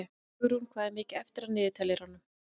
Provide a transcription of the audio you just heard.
Hugrún, hvað er mikið eftir af niðurteljaranum?